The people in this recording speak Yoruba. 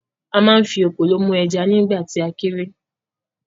A ma ń fi “ekòló” mú ẹja nígbà tì a kéré.